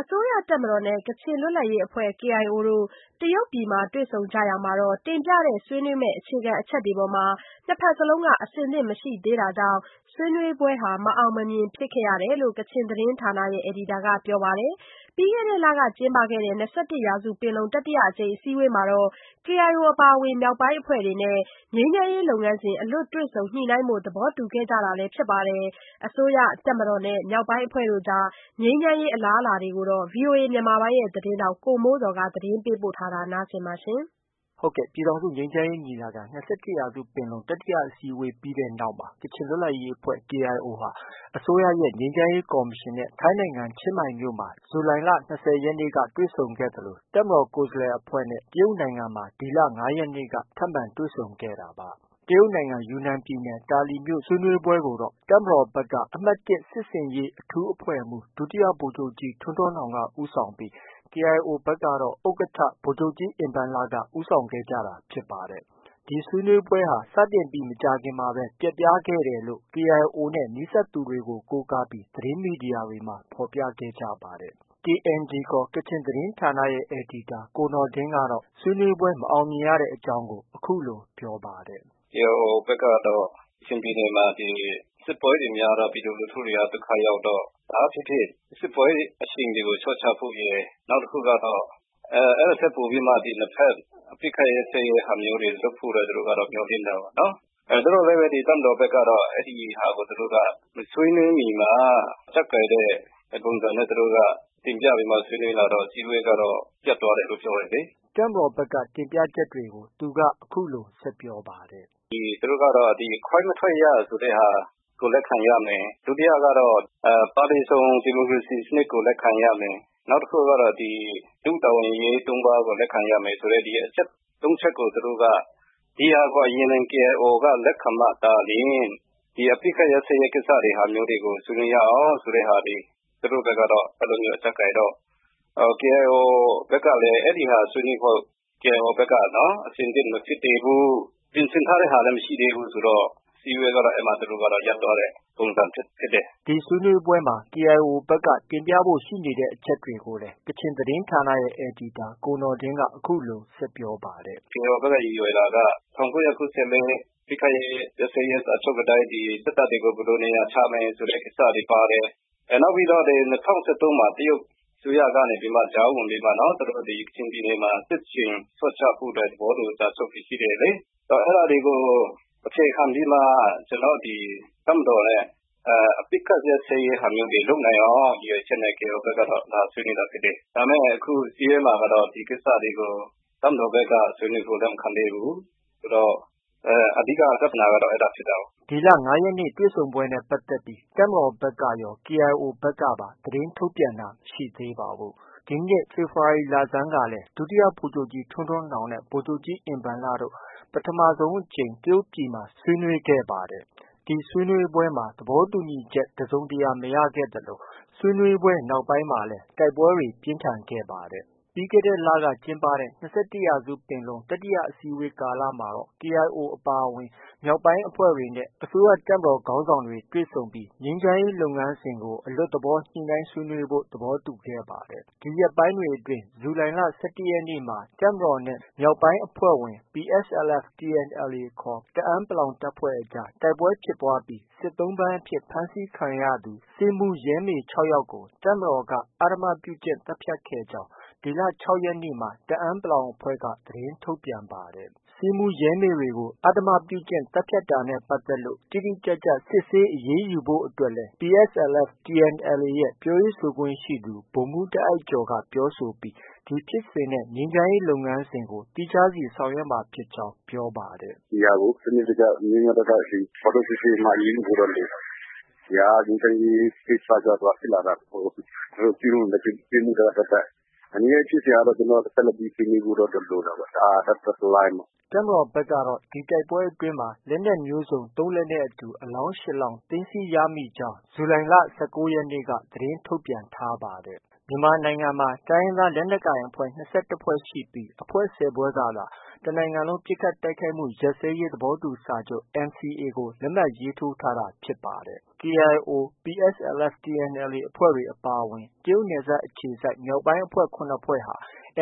အစိုးရတပ်မတော်နဲ့ ကချင်လွတ်လပ်ရေးအဖွဲ့ KIO တို့ တရုတ်ပြည်မှာ တွေ့ဆုံကြရာမှာ တင်ပြတဲ့ ဆွေးနွေးမယ့် အခြေခံအချက်တွေအပေါ်မှာ နှစ်ဘက်စလုံးက အဆင်သင့်မရှိသေးတာကြောင့် ဆွေးနွေးပွဲဟာ မအောင်မမြင် ဖြစ်ခဲ့ရတယ်လို့ ကချင်သတင်းဌာနရဲ့ အယ်ဒီတာက ပြောပါတယ်။ ပြီးခဲ့တဲ့လက ကျင်းပတဲ့ ၂၁ရာစုပင်လုံ တတိယအစည်းအဝေးမှာတော့ KIO အပါအဝင် မြောက်ပိုင်းအဖွဲ့တွေနဲ့ ငြိမ်းချမ်းရေးလုပ်ငန်းစဉ်ကို အလွတ်တွေ့ဆုံညှိနှိုင်းဖို့ သဘောတူထားတာလည်း ဖြစ်ပါတယ်။ အစိုးရ၊ တပ်မတော်နဲ့ မြောက်ပိုင်းအဖွဲ့တွေ အကြား ငြိမ်းချမ်းရေးအလားအလာကို ဗီအိုအေမြန်မာပိုင်းရဲ့သတင်းထောက် ကိုမိုးဇော်က တင်ပြထားပါတယ်။ ဟုတ်ကဲ့။ ပြည်ထောင်စုငြိမ်းချမ်းရေးညီလာခံ- ၂၁ရာစုပင်လုံ တတိယအစည်းအဝေးအပြီးမှာ ကချင်လွတ်လပ်ရေးအဖွဲ့ KIOဟာ အစိုးရရဲ့ ငြိမ်းချမ်းရေးကော်မရှင်နဲ့ ထိုင်းနိုင်ငံချင်းမိုင်မြို့မှာ ဇူုလိုင်လ ၂၀ရက်နေ့က တွေ့ဆုံခဲ့သလို တပ်မတော်ကိုယ်စားလှယ်အဖွဲ့နဲ့ တရုတ်နိုင်ငံမှာ ဒီလ ၅ရက်နေ့က ထပ်မံတွေ့ဆုံခဲ့တာပါ။ တရုတ်နိုင်ငံ ယူနန်ပြည်နယ် တာလီမြို့ ဆွေးနွေးပွဲကိုတော့ တပ်မတော်ဘက်က အမှတ်၁ စစ်ဆင်ရေး အထူးအဖွဲ့မှုး ဒုတိယဗိုလ်ချုပ်ကြီး ထွန်းထွန်းနောင်က ဦးဆောင်ခဲ့ပြီး KIO ဘက်ကတော့ ဥက္ကဌ ဗိုလ်ချုပ်ကြီးအင်ဘန်လက ဦးဆောင်ခဲ့ကြတာဖြစ်ပါတယ်။ ဒီဆွေးနွေးပွဲဟာ စတင်ပြီး မကြာခင်မှာပဲ ပျက်ပြားခဲ့ရကြောင်း KIO နဲ့ နီးစပ်သူတွေကို ကိုးကားပြီး သတင်းမီဒီယာတွေမှာ ဖော်ပြကြပါတယ်။ KNG ခေါ် ကချင်သတင်းဌာနရဲ့ အယ်ဒီတာ ကိုနော်ဒင်းကတော့ ဆွေးနွေးပွဲမအောင်မြင်ရတဲ့အကြောင်းကို အခုလို ပြောပါတယ်။ “ KIO ဘက်ကတော့ ကချင်ပြည်နယ်မှာ စစ်ပွဲတွေများတော့ ပြည်သူလူထုတွေက ဒုက္ခရောက်တော့ ဘာပဲဖြစ်ဖြစ် စစ်ပွဲအရှိန်တွေကို လျှော့ချဖို့ ရယ် နောက်တခုကတော့ အဲဒါထက်ပိုပြီးမှ နှစ်ဘက် အပစ်အခတ် ရပ်စဲရေးဟာမျိုးတွေ လုပ်ဖို့ မျှော်လင့်တာပေါ့။ သို့သော်လည်းပဲ တပ်မတော်ဘက်ကတော့ အဲဒီဟာကို သူတို့က မဆွေးနွေးနွေးမီမှာ အကျပ်ကိုင်တဲ့ပုံစံနဲ့သူတို့က တင်ပြပြီးတော့ ဆွေးနွေးလာတော့ အစည်းအဝေးက ပျက်သွားတယ်လို့ ပြောတယ်လေ။ ” တပ်မတော်ဘက်က တင်ပြချက်တွေကို အခုလို ဆက်ပြောပါတယ်။ “ သူတို့ကတော့ ဒီခွဲမထွက်ရဆိုတဲ့ဟာကို လက်ခံရမယ်။ ဒုတိယကတော့ ပါတီစုံ ဒီမိုကရေစီစနစ်ကို လက်ခံရမယ်။ နောက်တခုက တို့တာဝန်အရေးသုံးပါးဆိုတာကို လက်ခံရမယ်ဆိုတဲ့ အချက် ၃ချက်ကို သူတို့က ဒီဟာကို KIO က လက်ခံမှသာ အပစ်အခတ်ရပ်စဲရေးကိစ္စတွေကို ဆွေးနွေးရအောင်လို့ ဆိုတဲ့ဟာတွေ သူတို့ ဖက်က အကျပ်ကိုင်တော့ KIO ဘက်ကလည်း အဲဒီဟာ ဆွေးနွေးဖို့ အဆင်သင့်မဖြစ်သေးဘူး။ ပြင်ဆင်ထားတဲ့ဟာလည်း မရှိသေးဘူးဆိုတော့ အစည်းအဝေးကတော့ အဲဒီမှာ ရပ်သွားတဲ့ ပုံစံဖြစ်တယ်။” ဒီဆွေးနွေးပွဲမှာ KIO ဘက်က တင်ပြဖို့ ရှိနေတဲ့အချက်တွေကိုလည်း ကချင်သတင်းဌာနရဲ့ အယ်ဒီတာ ကိုနော်ဒင်းက အခုလို ဆက်ပြောပါတယ်။ “ KIO ဘက် ရည်ရွယ်တာက ၁၉၉၄ အပစ်အခတ် ရပ်စဲရေးစာချုပ်အတိုင်း ဒီ စစ်တပ်တွေကို ဘယ်လို နေရာချမယ်ဆိုတဲ့ ကိစ္စတွေ ပါတယ်။နောက်ပြီးတော့ ဒီ ၂၀၁၃မှာ တရုတ်အစိုးရကနေပြီးတော့ ကြားဝင်ပြီးတော့ သူတို့ ကချင်ပြည်နယ်မှာ စစ်ရှိန် လျှော့ချဖို့အတွက် သဘောတူစာချုပ်တွေ ရှိတယ်လေ။ အဲဒါတွေကို အခြေခံပြီးမှ တပ်မတော်နဲ့ အပစ်အခတ်ရပ်စဲရေးဟာမျိုး လုပ်နိုင်အောင် ရည်ရွယ်ချက်နဲ့ KIO ဘက်က လာဆွေးနွေးတာဖြစ်တယ်။ ဒါပေမဲ့ ခုအစည်းအဝေးမှာကတော့ ဒီကိစ္စတွေကို တပ်မတော်ဘက်က ဆွေးနွေးဖို့ လက်မခံသေးဘူး။ အဓိက ပြဿနာကတော့ အဲဒါဖြစ်တာကိုး။ ” ဒီလ ၅ရက်နေ့တွေ့ဆုံပွဲနဲ့ပတ်သက်ပြီး တပ်မတေ်ာရော KIO အဖွဲ့ဘက်ကပါ သတင်းထုတ်ပြန်တာမရှိသေး ပါဘူး။ ဒီနှစ် ဖေဖော်ဝါရီလဆန်းကလည်း ဒုတိယဗိုလ်ချုပ်ကြီး ထွန်းထွန်းနောင်နဲ့ ဗိုလ်ချုပ်ကြီးအင်ဘန်လတို့ ပထမအကြိမ် တရုတ်ပြည်မှာ ဆွေးနွေးခဲ့ပါတယ်။ ဒီဆွေးနွေးပွဲမှာသဘောတူညီချက် တစုံတရာ မရခဲ့သလို ဆွေးနွေးပွဲနောက်ပိုင်းမှာလည်း တိုက်ပွဲတွေ ပြင်းထန်ခဲ့ပါတယ်။ ပြီးခဲ့တဲ့လက ကျင်းပတဲ့ ၂၁ရာစုပင်လုံ တတိယအစည်းအဝေးကာလမှာတော့ KIO အပါအဝင် မြောက်ပိုင်းအဖွဲ့တွေနဲ့ အစိုးရ၊ တပ်မတော် ခေါင်းဆောင်တွေ တွေ့ဆုံခဲ့ပြီး ငြိမ်းချမ်းရေးလုပ်ငန်းစဉ်ကို အလွတ်တွေ့ဆုံညှိနှိုင်းဖို့ သဘောတူထားခဲ့ပါတယ်။ ဒီရက်ပိုင်းအတွင်း ဇူလိုင်လ ၁၁ရက်နေ့မှာ တပ်မတော်နဲ့ မြောက်ပိုင်းအဖွဲ့ဝင်ဖြစ်တဲ့ PSLF/TNLA ခေါ် တအာင်း တပ်ဖွဲ့အကြား တိုက်ပွဲဖြစ်ပွားပြီး စစ်သုံ့ပန်းအဖြစ် ဖမ်းဆီးခံရသူ ဆေးမှုးရဲမေ ၆ယောက်ကို တပ်မတော်က အဓမ္မပြုကျင့်သတ်ဖြတ်ခဲ့ကြောင်း ဒီလ ၆ရက်နေ့မှာ တအာင်း အဖွဲ့က သတင်းထုတ်ပြန်ပါတယ်။ ဆေးမှုးရဲမေတွေကို အဓမ္မပြု့ကျင့်သတ်ဖြတ်တာနဲ့ပတ်သက်လို့ တိတိကျကျစစ်ဆေးအရေးယူဖို့အတွက်လည်း PSLF/TNLA ရဲ့ ပြောခွင့်ရသူ ဗိုလ်မှုးတာ့အိုက်ကျော်က ပြောဆိုပြီး ဒီဖြစ်စဉ်နဲ့ ငြိမ်းချမ်းရေးလုပ်ငန်းစဉ်ကို သီးခြားစီဆောင်ရွက်မှာဖြစ်ကြောင်း အခုလို ပြောပါတယ်။ “ ဒီဟာကို စနစ်တကျ၊ မျှမျှတတ ဖော်ထုတ်စစ်ဆေးအရေးယူဖို့တော့ လိုတယ်။ ဒီဟာက ငြိမ်းချမ်းရေးကိစ္စကြောင့် ဖြစ်လာတာမဟုတ်ဘူး။ သူတို့ ကျူးလွန်တဲ့ ပြစ်မှုက သပ်သပ်။ ငြိမ်းချမ်းရေးဖြစ်စဉ်ကတော့ ကျနော်တို့ ဆက်လက်ပြီးဆွေးနွေးဖို့တော့ လိုတာပေါ့။ ဒါက သပ်သပ်တလိုင်းပေါ့။” တပ်မတော်ဘက်ကတော့ ဒီတိုက်ပွဲအတွင်းမှာ လက်နက်မျိုးစုံ ၃လက်နဲ့အတူ အလောင်း၈လောင်း သိမ်းဆည်းရမိကြောင်း ဇူလိုင်လ ၁၉ရက်နေ့မှာ သတင်းထုတ်ပြန်ထားပါတယ်။ မြန်မာနိုင်ငံမှာ တိုင်းရင်းသား လက်နက်ကိုင်အဖွဲ့ ၂၁ဖွဲ့ရှိပြီး အဖွဲ့ ၁၀ဖွဲ့ကသာ တနိုင်ငံလုံးပစ်ခတ်တိုက်ခိုက်မှုရပ်စဲရေးသဘောတူစာချုပ် NCA ကို လက်မှတ်ရေးထိုးထားတာဖြစ်ပါတယ်။ KIO ၊ PSLF/ TNLA အဖွဲ့တွေ အပါအဝင်ဖြစ်တဲ့ တရုတ်နယ်စပ်အခြေစိုက် မြောက်ပိုင်းအဖွဲ့၇ဖွဲ့ဟာ